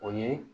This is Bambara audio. O ye